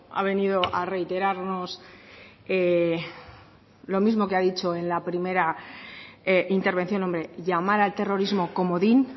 ha venido a reiterarnos lo mismo que ha dicho en la primera intervención hombre llamar al terrorismo comodín